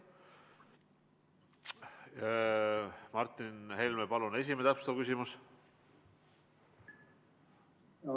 Martin Helme, palun, täpsustav küsimus!